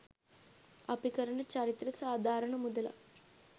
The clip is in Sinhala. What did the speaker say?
අපි කරන චරිතෙට සාධාරණ මුදලක්